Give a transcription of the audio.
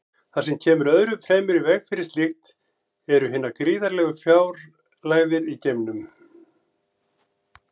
Það sem kemur öðru fremur í veg fyrir slíkt eru hinar gríðarlegu fjarlægðir í geimnum.